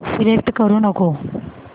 select करू नको